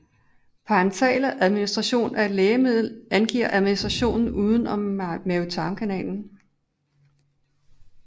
Parenteral administration af et lægemiddel angiver administration uden om mavetarmkanalen